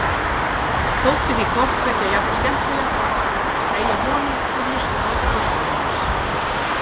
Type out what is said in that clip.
Þótti því hvort tveggja jafn skemmtilegt, að segja honum og hlusta á frásögur hans.